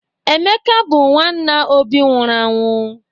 Emeka bụ nwanna Obi nwụrụ anwụ.